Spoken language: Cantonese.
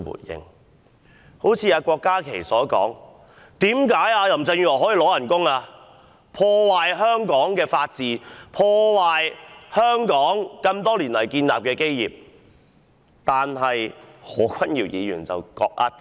一如郭家麒議員所質疑：林鄭月娥破壞香港的法治和香港多年來所建立的基業，為何她還可以領取工資？